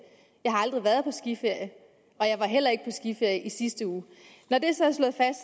jeg har aldrig været på skiferie og jeg var heller ikke på skiferie i sidste uge når det så